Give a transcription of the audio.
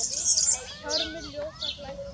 Hjálmur ljósa glæstur er.